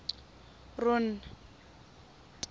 ron